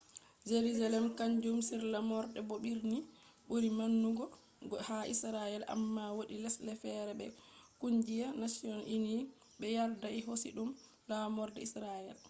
jerusalem kanjum on laamorde bo birni buri maunugo ha israel amma wodi lesde fere be kungiya united nations bé yardai hosi dum laamorde israel